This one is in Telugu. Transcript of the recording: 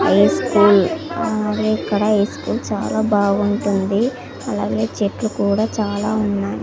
హైస్కూల్ ఆ ఇదే ఇక్కడ హైస్కూల్ చాలా బాగుంటుంది అలాగే చెట్లు కూడా చాలా ఉన్నాయ్.